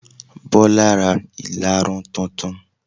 Bọlá ra ìlarun tutun.